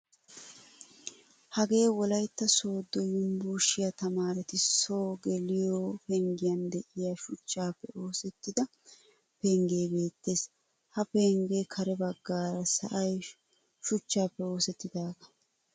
Hagee wolaytta sodo yunvurshiyaa tamaaretti so geliyo penggiyan deiyaa shuchchappe oosettida pengge beettees. Ha penggen kare baggaara sa'aay shuchchappe oosettidaga.